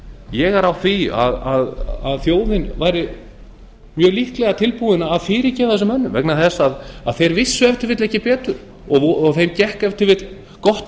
ég er á því að þjóðin væri mjög líklega tilbúin að fyrirgefa þessum mönnum vegna þess að þeir vissu ef til vill ekki betur og þeim gekk ef til vill gott